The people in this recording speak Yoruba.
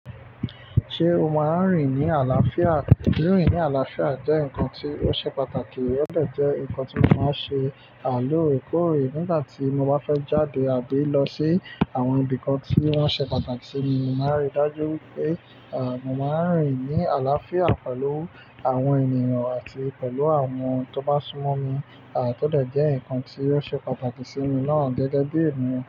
Ṣé o máa ń rìn ní àlàáfíà? Rín rin ní àlàáfíà jẹ́ nǹkan tí ó ṣe pàtàkì, ó de jẹ́ nǹkan tí mo máa ń ṣe à lóòrekóòrè nígbà tí mo bá fẹ́ jáde àbí lọ sí àwọn ibì kan tí wọ́n ṣe pàtàkì sí mi. Mo màá n rí dájú wipé, à, mo máa ń rìn ní àlàáfíà pẹ̀lú àwọn ènìyàn àti pẹ̀lú àwọn tó bá sún mọ́ mi. À, tó de jẹ́ nǹkan tí o ṣe pàtàkì sí mi náà gẹ́gẹ́ bí ènìyàn.